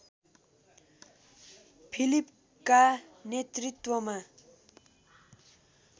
फिलिपका नेतृत्वमा